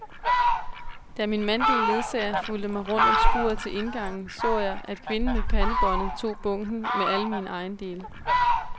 Da min mandlige ledsager fulgte mig rundt om skuret til indgangen, så jeg, at kvinden med pandebåndet tog bunken med alle mine ejendele.